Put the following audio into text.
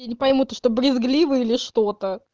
я не пойму ты что брезгливый или что-то